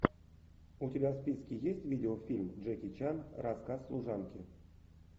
у тебя в списке есть видеофильм джеки чан рассказ служанки